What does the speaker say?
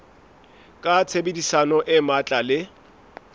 ka tshebedisano e matla le